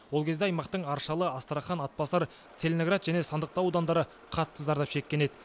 ол кезде аймақтың аршалы астрахан атбасар целиноград және сандықтау аудандары қатты зардап шеккен еді